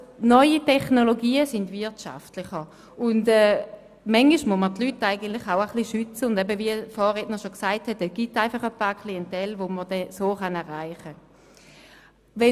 Neue Technologien sind einfach wirtschaftlicher, und manchmal muss man die Leute ein bisschen schützen, und es gibt eine gewisse Klientel, die man so erreichen kann.